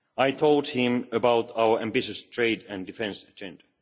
I told him about our ambitious trade and defence agenda.